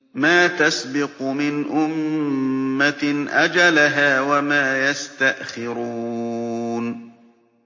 مَا تَسْبِقُ مِنْ أُمَّةٍ أَجَلَهَا وَمَا يَسْتَأْخِرُونَ